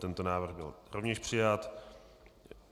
Tento návrh byl rovněž přijat.